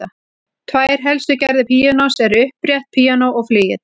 Tvær helstu gerðir píanós eru upprétt píanó og flygill.